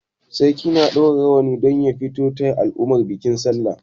Sarki na ɗaura rawani don ya fita taya al'umma bikin sallah.